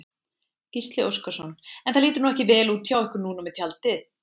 Gísli Óskarsson: En það lítur nú ekki vel út hjá ykkur núna með tjaldið?